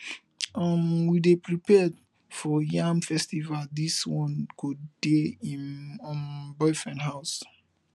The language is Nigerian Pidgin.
um we dey prepare for yam festival dis one dey go im um boyfriend house